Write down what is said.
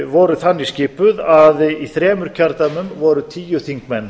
voru þann skipuð að í þremur kjördæmum voru tíu þingmenn